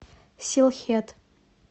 силхет